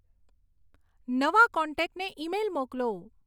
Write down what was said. નવા કોન્ટેક્ટને ઈમેઈલ મોકલો